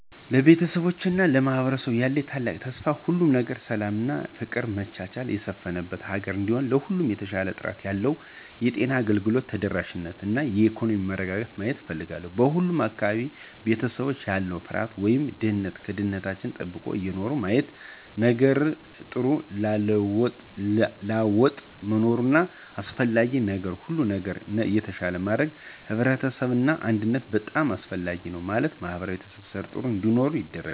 ለቤተሰቤ እና ለማህበረሰቡ ያለኝ ታላቅ ተስፋ ሁሉም ነገር ሰላም እና ፍቅር መቻቻል የሰፍነበት ሀገር እንዲሁም ለሁሉም የተሻሻለ ጥራት ያለው የጤና አገልግሎት ተደራሽነት እና የኢኮኖሚ መረጋጋትን ማየት እፍልጋለሁ። በሁሉም አካባቢዎች እና ቤተሰቦች ያለ ፍርሃት ወይም ድህነት ደህንንታችው ተጠብቆ እየኖሩ ማየት። ነገጥሩ ላወጥ መኖር አሰፍላጊ ነዉ ሁሉም ነገር ነገ የተሻለ ለማድረግ ህብረት እና አንድነት በጣም አሰፍላጊ ነው ማለትም ማህበራዊ ትሰሰርን ጥሩ እንዲሆን ያደርጋል።